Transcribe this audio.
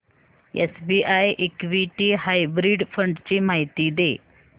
SBI equity hybrid fund ची माहिती दे